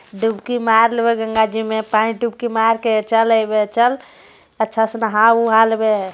डुबकी मारलेबै गंगा जी में पानी में डुबकी मार के चल अइबे चल अच्छा से नहा उहा लेबे हे।